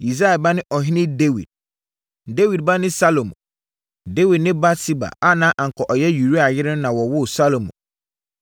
Yisai ba ne Ɔhene Dawid. Dawid ba ne Salomo. Dawid ne Batseba a na anka ɔyɛ Uria yere no na wɔwoo Salomo.